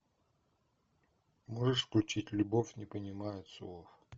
можешь включить любовь не понимает слов